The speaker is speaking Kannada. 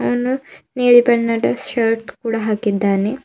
ಅವನು ನೀಲಿ ಬಣ್ಣದ ಶರ್ಟ್ ಕೂಡ ಹಾಕಿದ್ದಾನೆ.